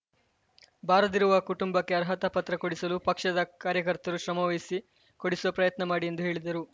ಬಾರದಿರುವ ಕುಟುಂಬಕ್ಕೆ ಅರ್ಹತಾ ಪತ್ರ ಕೊಡಿಸಲು ಪಕ್ಷದ ಕಾರ್ಯಕರ್ತರು ಶ್ರಮವಹಿಸಿ ಕೊಡಿಸುವ ಪ್ರಯತ್ನ ಮಾಡಿ ಎಂದು ಹೇಳಿದರು